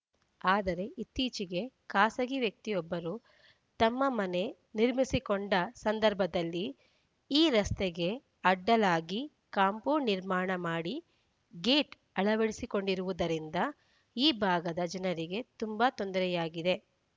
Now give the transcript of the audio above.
ಆದರೆ ಇತ್ತೀಚೆಗೆ ಖಾಸಗಿ ವ್ಯಕ್ತಿಯೊಬ್ಬರು ತಮ್ಮ ಮನೆ ನಿರ್ಮಿಸಿಕೊಂಡ ಸಂದರ್ಭದಲ್ಲಿ ಈ ರಸ್ತೆಗೆ ಅಡ್ಡಲಾಗಿ ಕಾಂಪೌಂಡ್‌ ನಿರ್ಮಾಣ ಮಾಡಿ ಗೇಟ್‌ ಅಳವಡಿಸಿರುವುದರಿಂದ ಈ ಭಾಗದ ಜನರಿಗೆ ತುಂಬಾ ತೊಂದರೆಯಾಗಿದೆ